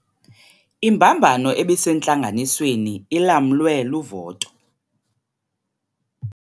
Imbambano ebisentlanganisweni ilamlwe luvoto.